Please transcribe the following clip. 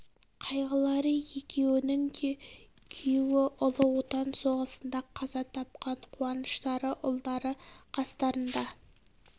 қайғылары екеуінің де күйеуі ұлы отан соғысында қаза тапқан қуаныштары ұлдары қастарында